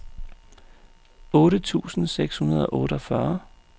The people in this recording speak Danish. otte tusind seks hundrede og otteogfyrre